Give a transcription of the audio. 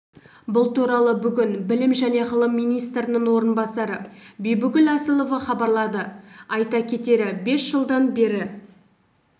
бұл туралы бүгін білім және ғылым министрінің орынбасары бибігүл асылова хабарлады айта кетері бес жылдан бері